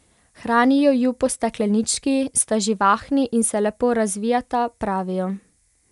Hranijo ju po steklenički, sta živahni in se lepo razvijata, pravijo.